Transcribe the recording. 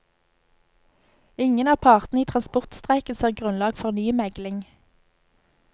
Ingen av partene i transportstreiken ser grunnlag for ny megling.